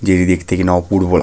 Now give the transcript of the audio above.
যেটি দেখতে কিনা অপূর্ব --